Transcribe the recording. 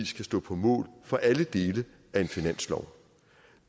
skal stå på mål for alle dele af en finanslov